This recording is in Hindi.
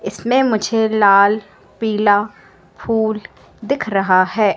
इसमें मुझे लाल पीला फूल दिख रहा हैं।